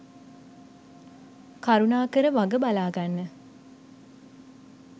කරුණාකර වග බලා ගන්න.